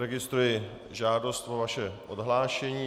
Registruji žádost o vaše odhlášení.